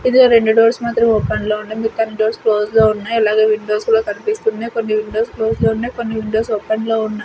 ఇందులో రెండు డోర్స్ మాత్రం ఓపెన్ లో ఉన్నాయి మిగతా అన్ని డోర్స్ క్లోజ్ లో ఉన్నాయి అలాగే విండోస్ కూడా కనిపిస్తున్నాయి కొన్ని విండోస్ క్లోజ్ లో ఉన్నాయి కొన్ని విండోస్ ఓపెన్ లో ఉన్నాయి.